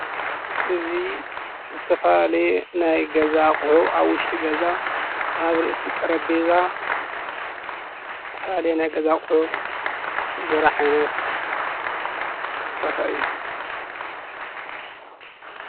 እዙይ ዝተፈላለየ ናይ ገዛ ኣቕሑ ኣብ ውሽጢ ገዛ ኣብ ርእሲ ጠረጵዛ ዝተፈላለዩ ናይ ገዛ ቑሑ ዝረኣይሉ ዓይነት ቦታ እዩ።